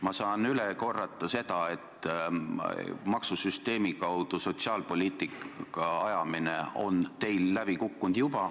Ma saan üle korrata seda, et maksusüsteemi kaudu sotsiaalpoliitika ajamine on teil juba läbi kukkunud.